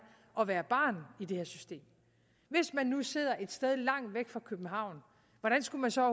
at være barn i det her system hvis man nu sidder et sted langt væk fra københavn hvordan skal man så